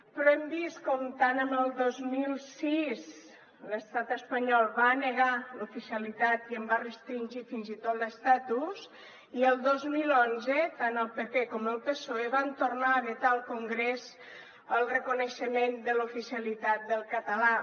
però hem vist com el dos mil sis l’estat espanyol va negar l’oficialitat i en va restringir fins i tot l’estatus i el dos mil onze tant el pp com el psoe van tornar a vetar al congrés el reconeixement de l’oficialitat del català